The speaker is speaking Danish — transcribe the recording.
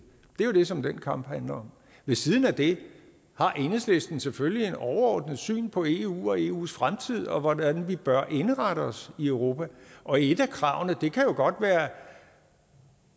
det er det som den kamp handler om ved siden af det har enhedslisten selvfølgelig et overordnet syn på eu og eus fremtid og hvordan vi bør indrette os i europa og et af kravene kan jo godt